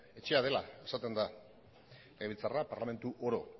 etxea dela esaten da legebiltzarra parlamentu oro